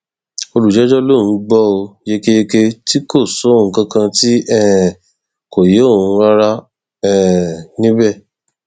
olùjẹjọ lòún gbọ ọ yékéyéké tí kò sóhun kankan tí um kò yé òun rárá um níbẹ